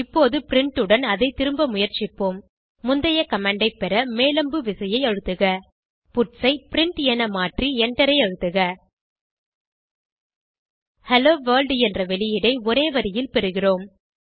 இப்போது பிரின்ட் உடன் அதை திரும்ப முயற்சிப்போம் முந்தைய கமாண்ட் ஐ பெற மேல் அம்பு விசையை அழுத்துக பட்ஸ் ஐ பிரின்ட் என மாற்றி எண்டரை அழுத்துக ஹெல்லோ வர்ல்ட் என்ற வெளியீடை ஒரே வரியில் பெறுகிறோம்